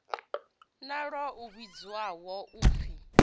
na ḽo a vhidzwaho upfi